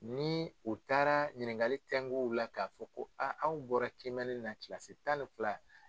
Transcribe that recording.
Ni u taara ɲininkali tɛngu u la k'a fɔ ko aw bɔra kiimɛni na kilasi tan ni fila.